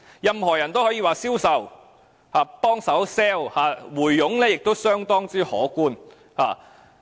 任何人也可以銷售或幫助推銷龕位，而回佣亦相當可觀。